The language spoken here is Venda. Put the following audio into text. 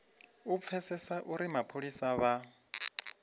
u pfesesa uri mapholisa vha